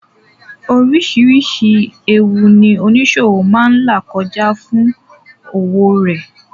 Oríṣìírísìí ẹwu ní oníṣòwọ̀ máa là kọjá fún òwò rẹ.